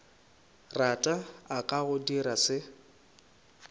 rata a ka dirago se